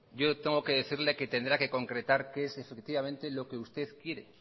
yo tengo que decirle que tendrá que concretar qué es lo que usted quiere